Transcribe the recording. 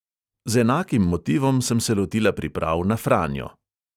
Z enakim motivom sem se lotila priprav na franjo.